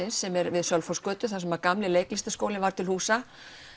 sem er við Sölvhólsgötu þar sem gamli leiklistarskólinn var til húsa